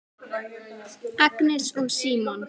Agnes og Símon.